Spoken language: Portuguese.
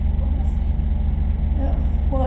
Como assim?